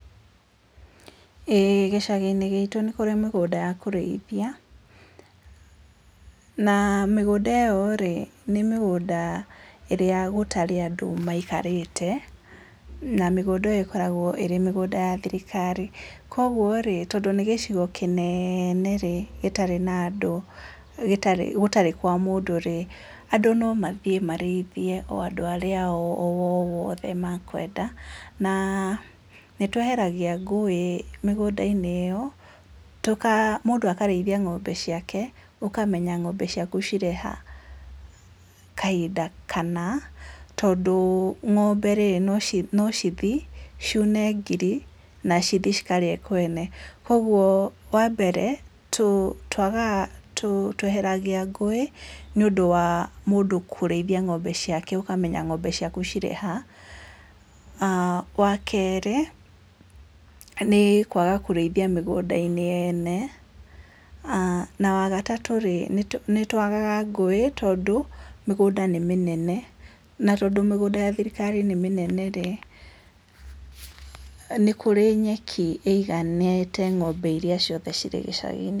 Ĩĩ gĩcaginĩ gitũ nĩkũrĩ mĩgũnda ya kũrĩithia, na mĩgũnda ĩyo rĩ, nĩ mĩgũnda ĩrĩa gatarĩ na andũ maikarĩte, na mĩgũnda ĩyo ĩkoragwo ĩrĩ mĩgũnda ya thirikari, koguo rĩ, tondũ nĩ gĩcigo kĩnene rĩ, gĩtarĩ na andũ gĩtarĩ gũtarĩ kwa mũndũ rĩ, andũ no mathiĩ marĩithie o andũ arĩa othe makwenda, na nĩtweheragia ngũĩ mĩgũndainĩ ĩyo, tũka mũndũ akarĩithia ng'ombe ciake, ũkamenya ng'ombe ciaku cirĩ ha, kahinda kana, tondũ ng'ombe rĩ, no ci no cithi ciune ngiri, na cithi cikarĩe kwene. Koguo wambere, tũ twagaga tũ tweheragia ngũĩ, nĩ ũndũ wa mũndũ kũrĩithia ng'ombe ciake ũkamenya ng'ombe ciaku cirĩ ha. Wa kerĩ, nĩ kwaga kũrĩithia mĩgũndai-nĩ yene, na wagatatũ rĩ, nĩtũ nĩtwagaga ngũĩ tondũ mĩgũnda nĩ mĩnene, na tondũ ya thirikari nĩ mĩnene rĩ, nĩkũrĩ nyeki ĩiganĩte ng'ombe iria ciothe cirĩ gĩcaginĩ.